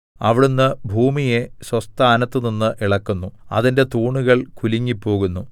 അവിടുന്ന് ഭൂമിയെ സ്വസ്ഥാനത്തുനിന്ന് ഇളക്കുന്നു അതിന്റെ തൂണുകൾ കുലുങ്ങിപ്പോകുന്നു